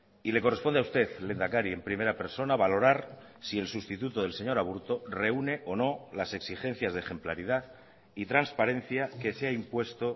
y le corresponde a usted lehendakari en primera persona valorar si el sustituto del señor aburto reúne o no las exigencias de ejemplaridad y transparencia que se ha impuesto